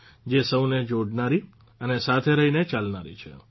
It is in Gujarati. જે સૌને જોડનારી અને સાથે રહીને ચાલનારી છે